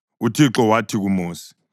UThixo wathi kuMosi,